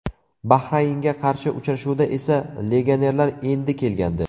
Bahraynga qarshi uchrashuvda esa legionerlar endi kelgandi.